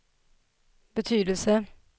betydelse